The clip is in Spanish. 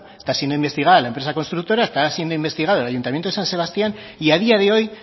está siendo investigada la empresa constructora está siendo investigado el ayuntamiento de san sebastián y a día de hoy